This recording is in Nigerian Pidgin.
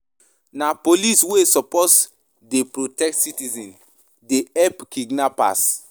Na police wey suppose dey protect citizens dey help kidnappers.